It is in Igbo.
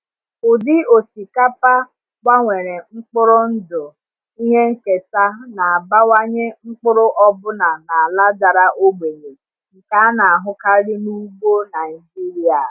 Ụdị osikapa gbanwere mkpụrụ ndụ ihe nketa na-abawanye mkpụrụ ọbụna n’ala dara ogbenye nke a na-ahụkarị n’ugbo Naijiria.